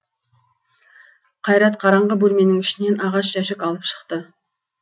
қайрат қараңғы бөлменің ішінен ағаш жәшік алып шықты